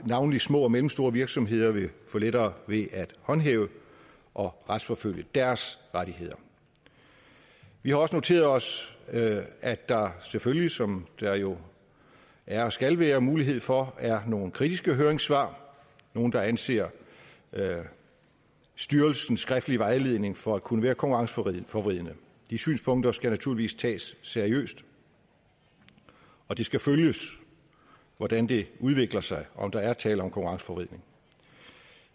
navnlig små og mellemstore virksomheder vil få lettere ved at håndhæve og retsforfølge deres rettigheder vi har også noteret os at der selvfølgelig som der jo er og skal være mulighed for er nogle kritiske høringssvar nogle der anser styrelsens skriftlige vejledning for at kunne være konkurrenceforvridende de synspunkter skal naturligvis tages seriøst og det skal følges hvordan det udvikler sig og om der er tale om konkurrenceforvridning